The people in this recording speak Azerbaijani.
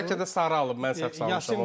Amma bəlkə də sarı alıb, mən səhv salmışam.